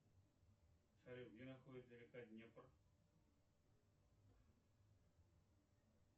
салют где находится река днепр